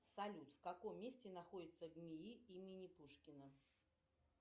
салют в каком месте находится нии имени пушкина